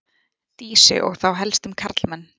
Dísu og þá helst um karlmenn.